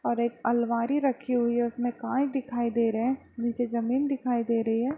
और एक अलमारी रखी हुई है उसमे कांच दिखाई दे रहे हैं निचे जमीन दिखाई दे रही है।